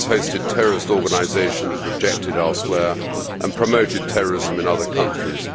It has hosted terrorist organisations rejected elsewhere and has promoted terrorism in other countries.